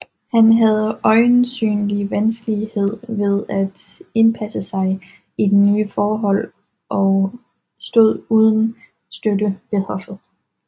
Han havde øjensynlig vanskelighed ved at indpasse sig i de nye forhold og stod uden støtte ved hoffet